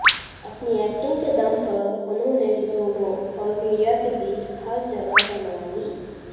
अपनी एक्टिंग के दम पर उन्होंने लोगों और मीडिया के बीच खास जगह बना ली